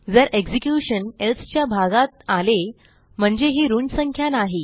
जर execution else च्या भागात आले म्हणजे ही ऋण संख्या नाही